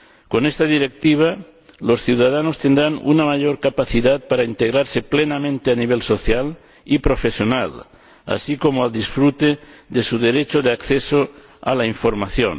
Con esta Directiva los ciudadanos tendrán una mayor capacidad para integrarse plenamente a nivel social y profesional, así como para disfrutar de su derecho de acceso a la información.